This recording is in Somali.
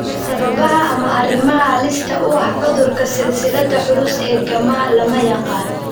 Sababaha ama arrimaha halista u ah cudurka silsiladda culus ee gamma lama yaqaan.